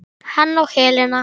Hann og Helena.